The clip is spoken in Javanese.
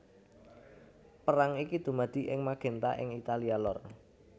Perang iki dumadi ing Magenta ing Italia lor